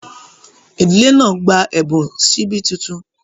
Ìdílé náà gbà ẹbùn síbí títún.